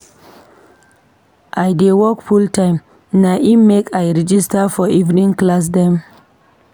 I dey work full-time na im make I register for evening class dem.